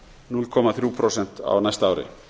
núll komma þrjú prósent á næsta ári